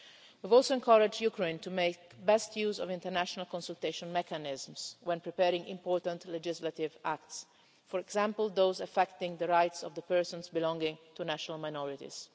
We also encouraged Ukraine to make the best use of international consultation mechanisms when preparing important legislative acts, for example those affecting the rights of persons belonging to national minorities.